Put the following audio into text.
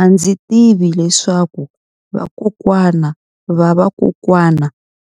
A ndzi tivi leswaku vakokwana-va-vakokwana